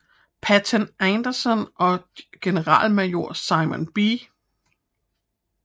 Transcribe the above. Patton Anderson og generalmajor Simon B